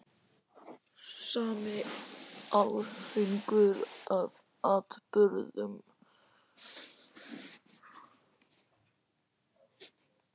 Sami árhringur af atburðum.